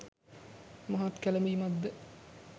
මහත් කැළඹීමක්ද